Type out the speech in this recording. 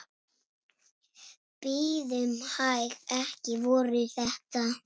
Bíðum hæg. ekki voru þetta?